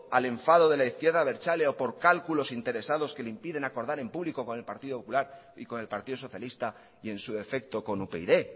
al enfado de la izquierda abertzale o por cálculos interesados que le impiden acordar en público con el partido popular y con el partido socialista y en su defecto con upyd